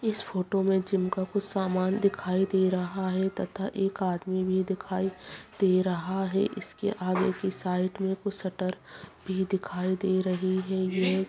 इस फोटो में जिम का कुछ सामान दिखाई दे रहा है तथा एक आदमी भी दिखाई दे रहा है इसके आगे के साइड में कुछ शटर भी दिखाई दे रही है यह--